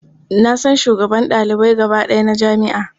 Na san shugaban ɗalibai gaba ɗaya na jami'a.